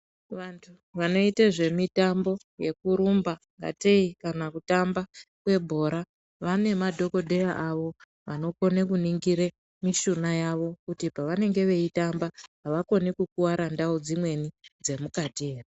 Vantu vanoita zvemitambo yekuita zvekurumba katei kana kutamba kebhora. Vane madhogodheya avo anokone kunongire mishuna yavo kuti havakoni kukuvara mukati ere.